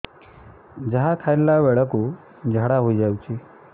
ଯାହା ଖାଇଲା ବେଳକୁ ଝାଡ଼ା ହୋଇ ଯାଉଛି